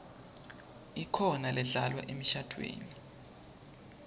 ikhona ledlalwa emishadvweni